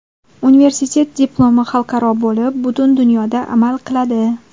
Universitet diplomi xalqaro bo‘lib, butun dunyoda amal qiladi!